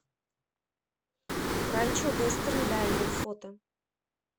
ранчо вестерн дайнер фото